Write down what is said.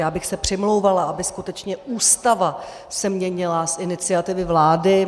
Já bych se přimlouvala, aby skutečně Ústava se měnila z iniciativy vlády.